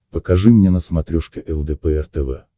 покажи мне на смотрешке лдпр тв